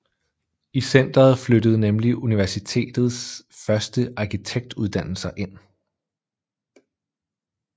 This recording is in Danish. I centeret flyttede nemlig Universitets første arkitekturuddannelser ind